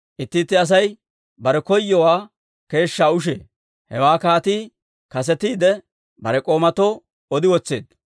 Itti itti Asay bare koyowaa keeshshaa ushee; hewaa kaatii kasetiide, bare k'oomatoo odi wotseedda.